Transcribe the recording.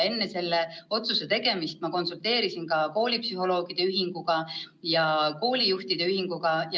Enne selle otsuse tegemist ma konsulteerisin ka koolipsühholoogide ühinguga ja koolijuhtide ühinguga.